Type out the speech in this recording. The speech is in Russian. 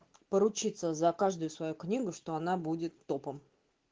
поручиться за каждую свою книгу что она будет топом